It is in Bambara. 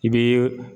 I bɛ